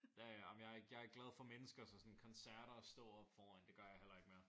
Ja ja men jeg er ikke jeg er ikke glad for mennesker så sådan koncerter og stå oppe foran det gør jeg heller ikke mere